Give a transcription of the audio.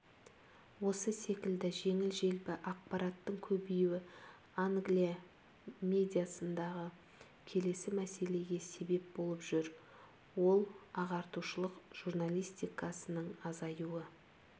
осы секілді жеңіл-желпі ақпараттын көбеюі англия медиасындағы келесі мәселеге себеп болып жүр ол ағартушылық журналистикасының азаюы